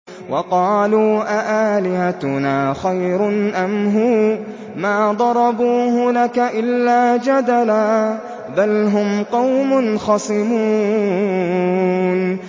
وَقَالُوا أَآلِهَتُنَا خَيْرٌ أَمْ هُوَ ۚ مَا ضَرَبُوهُ لَكَ إِلَّا جَدَلًا ۚ بَلْ هُمْ قَوْمٌ خَصِمُونَ